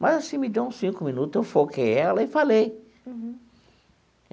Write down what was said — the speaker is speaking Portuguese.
Mas, assim, me deu uns cinco minutos, eu foquei ela e falei.